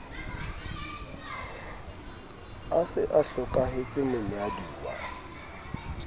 a se a hlokahetse monyaduwa